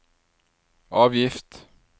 avgift